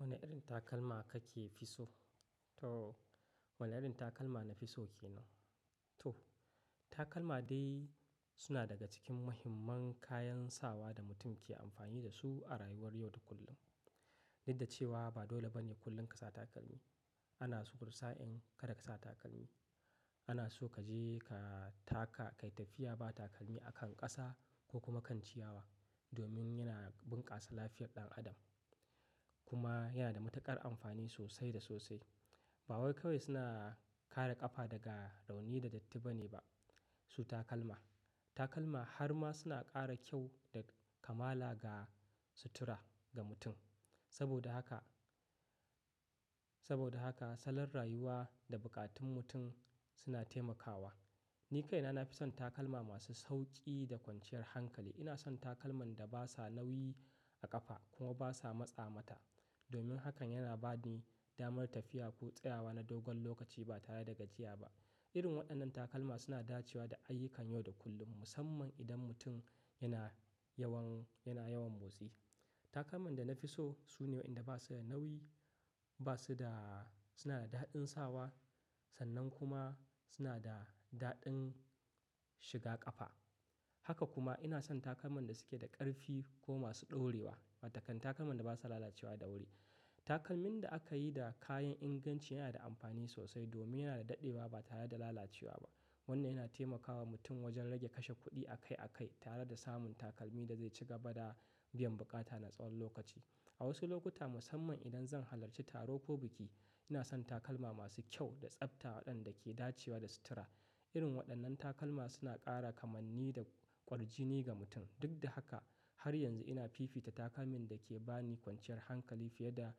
Wanne irin takalma kafi so? To, wanne irin takalma na fi so ke nan? To, takalma dai suna daga cikin muhimman kayan sawa da mutum ke amfani da su a rayuwar yau da kullum. Duk da cewa ba dole bane kullum ka sa takalmi. Ana so wani sa in kada ka sa takalmi. Ana so kaje ka taka, ka yi tafiya ba takalmi akan ƙasa ko kuma kan ciyawa, domin yana bunkasa lafiyar ɗan adam. Kuma yana da matuƙar amfani sosai da sosai. Ba wai kawai suna kare ƙafa daga rauni da datti ba ne ba, su takalman. Takalma har ma suna ƙara kyau da kamala ga sutura ga mutum. Saboda haka, saboda haka salon rayuwa da buƙatun mutum suna taimakawa. Ni kaina na fi son takalma masu sauƙi da kwanciyar hankali. Ina son takalman da basa nauyi a ƙafa kuma basa matsa mata. Domin haka yana ba ni damar tafiya ko tsayawa na dogon lokaci ba tare da gajiya ba. Irin waɗannan takalma suna dacewa da ayyukan yau da kullum, musamman idan mutum yana yawan, yana yawan motsi. Takalman da na fi so sune waɗanda basu da nauyi, basu da, suna da daɗin sawa, sannan kuma suna da daɗin shiga ƙafa. Haka kuma ina son takalman da suke da ƙarfi ko masu ɗorewa, watakan takalman da basa lalacewa da wuri. Takalmin da aka yi da kayan inganci yana da amfani sosai domin yana da daɗewa ba tare da lalacewa ba. Wannan yana taimakawa mutum wajen rage kashe kuɗi akai-akai tare da samun takalmi da zai ci gaba da biyan buƙata na tsawon lokaci. A wasu lokuta musamman idan zan halarci taro ko biki, ina son takalma masu kyau da tsafta waɗanda ke dacewa da sutura. Irin waɗannan takalma suna ƙara kamanni da ƙwarjini ga mutum. Duk da haka, har yanzu ina fifita takalmin da ke ba ni kwanciyar hankali fiye da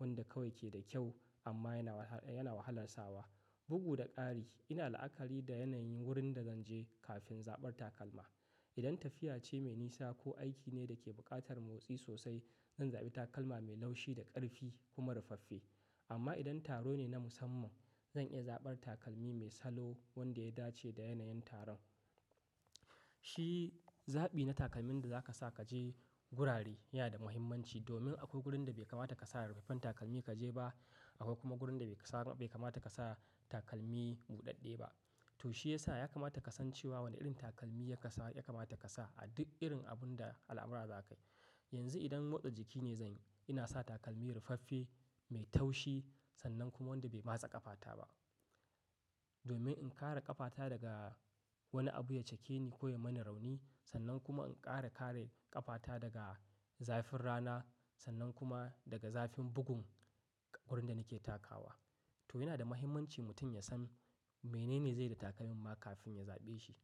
wanda kawai ke da kyau amma yana wahala, yana wahalar sawa. Bugu da ƙari, ina la'akari da yanayin wurin da zanje kafin zaɓar takalma. Idan tafiya ce mai nisa ko aiki ne da ke buƙatar motsi sosai, zan zaɓi takalma mai laushi da ƙarfi kuma rufaffe. Amma idan taro ne na musamman, zan iya zaɓar takalmi mai salo wanda ya dace da yanayin taron. Shi zaɓi na takalmin da zaka sa kaje gurare yana da muhimmanci domin akwai wurin da bai kamata ka sa rufaffen takalmi kaje ba. Akwai kuma gurin da bai kamata ka sa takalmi buɗaɗɗe ba. To shiyasa ya kamata ka san cewa wanne irin takalmi ya kamata ka sa a duk irin abun da al'amura zakai. Yanzu idan motsa jiki ne zanyi, ina sa takalmi rufaffe, mai taushi sannan kuma wanda bai matse ƙafata ba. Domin in kare ƙafata daga wani abu ya cake ni ko ya mani rauni. Sannan kuma in ƙara kare ƙafata daga zafin rana sannan kuma daga zafin bugun wurin da nake takawa. To yana da muhimmanci mutum ya san menene zai yi da takalma kafin ya zaɓe shi.